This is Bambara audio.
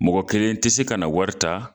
Mɔgɔ kelen tɛ se ka na wari ta